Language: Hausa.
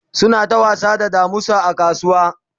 suna ta wasa da damusa a kasuwa